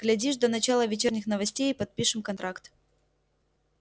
глядишь до начала вечерних новостей и подпишем контракт